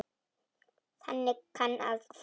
Þannig kann að fara.